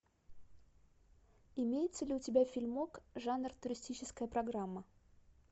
имеется ли у тебя фильмок жанр туристическая программа